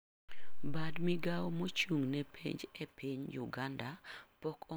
Bat migao maochung ne penj ei piny uganda pok ong'ado kinde ma jopuonjre biro timoe penj.